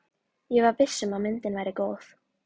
Ég var viss um að myndin væri góð.